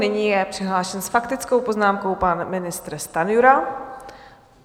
Nyní je přihlášen s faktickou poznámkou pan ministr Stanjura.